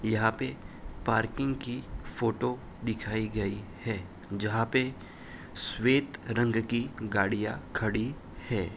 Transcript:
यहाँ पे पार्किंग की फोटो दिखाई गई है जहाँ पे श्वेत रंग की गाड़िया खड़ी है।